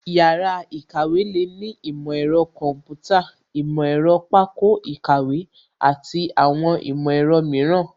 Yàrá ìkàwé lè ní ìmọ̀ ẹ̀rọ kọ̀ḿpútà, ìmọ̀ ẹ̀rọ pákó ìkàwé àti àwọn ìmọ̀ ẹ̀rọ mìíràn